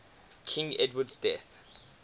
king edward's death